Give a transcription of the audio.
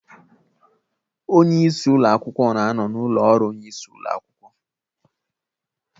Onye isi ụlọ akwụkwọ na-anọ n'ụlọ ọrụ onye isi ụlo akwụkwọ